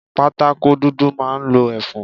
Pátákó dúdú máa ń lo ẹfun.